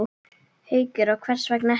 Haukur: Og hvers vegna ekki?